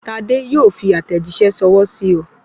Tade yóò fi àtẹ̀jíṣẹ́ ṣọwọ́ sí ọ